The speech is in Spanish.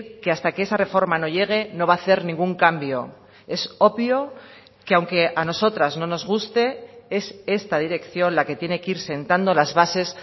que hasta que esa reforma no llegue no va a hacer ningún cambio es obvio que aunque a nosotras no nos guste es esta dirección la que tiene que ir sentando las bases